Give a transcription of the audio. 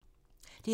DR1